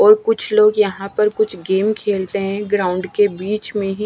और कुछ लोग यहां पर कुछ गेम खेलते हैं ग्राउंड के बीच में ही--